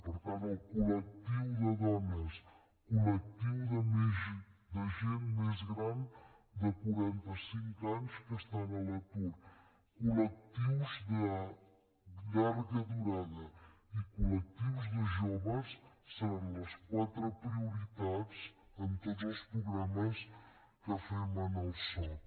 per tant col·lectiu de dones col·lectiu de gent més gran de quaranta cinc anys que estan a l’atur col·lectius de llarga durada i col·lectius de joves seran les quatre prioritats en tots els programes que fem en el soc